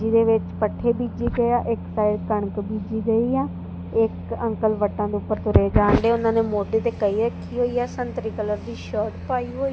ਜਿਹਦੇ ਵਿੱਚ ਪੱਠੇ ਬੀਜੇ ਗਏ ਆ ਇੱਕ ਸਾਈਡ ਕਣਕ ਬੀਜੀ ਗਈ ਆ ਇੱਕ ਅੰਕਲ ਵੱਟਾਂ ਦੇ ਉੱਪਰ ਤੁਰੇ ਜਾਣ ਡਏ ਓਹਨਾਂ ਨੇਂ ਮੋਡੇ ਦੇ ਕਹੀਂ ਰੱਖੀ ਹੋਈ ਆ ਸੰਤਰੀ ਕਲਰ ਦੀ ਸ਼ਰਟ ਪਾਈ ਏ।